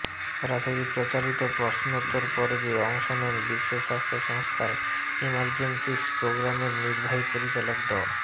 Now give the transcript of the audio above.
সরাসরি প্রচারিত প্রশ্নোত্তর পর্বে অংশ নেন বিশ্ব স্বাস্থ্য সংস্থার ইমার্জেন্সিস প্রোগ্রামের নির্বাহী পরিচালক ড